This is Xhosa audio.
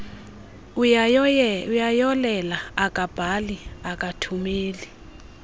uyayolela akabhali akathumeli